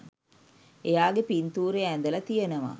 එයාගෙ පින්තූරය ඇඳලා තියෙනවා